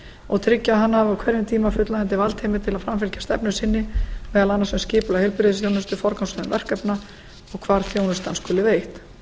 og tryggja að hann hafi á hverjum tíma fullnægjandi valdheimild til að framfylgja stefnu sinni meðal annars um skipulag heilbrigðisþjónustu forgangsröðun verkefna og hvar þjónustan skuli veitt